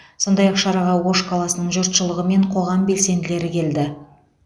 сондай ақ шараға ош қаласының жұртшылығы мен қоғам белсенділері келді